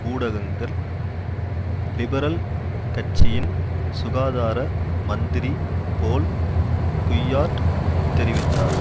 ஊடகங்கள் லிபரல் கட்சியின் சுகாதார மந்திரி போல் குய்யார்ட் தெரிவித்தார்